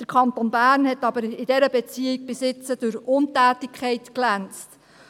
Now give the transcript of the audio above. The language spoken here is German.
Der Kanton Bern hat aber in dieser Beziehung bisher durch Untätigkeit geglänzt.